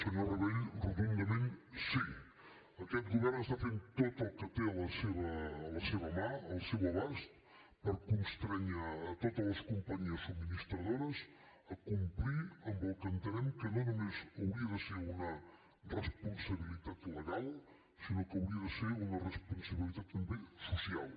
senyor rabell rotundament sí aquest govern està fent tot el que té a la seva mà al seu abast per constrènyer totes les companyies subministradores a complir amb el que entenem que no només hauria de ser una responsabilitat legal sinó que hauria de ser una responsabilitat també social